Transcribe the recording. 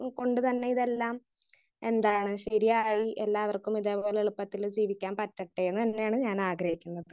Speaker 1 കൊണ്ട് തന്നെ ഇതെല്ലാം എന്തായായി ശരിയായാൽ എല്ലാവർക്കും ഇതേ പോലെ എളുപ്പത്തിൽ ജീവിക്കാൻ പറ്റട്ടെന്ന് തന്നെയാണ് ഞാൻ ആഗ്രഹിക്കുന്നത്.